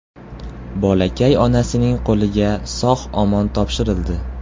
Bolakay onasining qo‘liga sog‘-omon topshirildi.